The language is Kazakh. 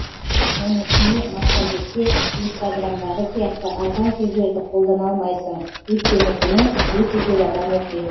оның үстіне массагетте инстаграмдағы сияқты арзан сөздерді қолдана алмайсың өйткені бұны өте көп адам оқиды